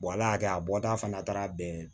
ala y'a kɛ a bɔta fana taara bɛn